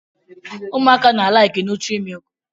Ụmụaka na-alaịkị nụtrị mịlịkị